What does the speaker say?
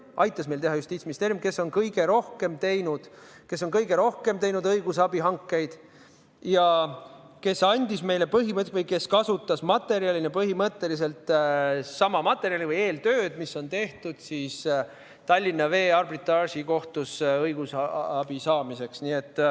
Selle aitas meil teha Justiitsministeerium, kes on kõige rohkem teinud õigusabihankeid ja kes kasutas materjalina põhimõtteliselt sama materjali või eeltööd, mis on tehtud Tallinna Vee kaasuses arbitraažikohtus õigusabi saamiseks.